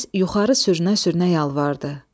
Mübariz yuxarı sürünə-sürünə yalvardı.